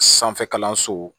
Sanfɛ kalanso